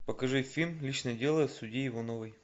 покажи фильм личное дело судьи ивановой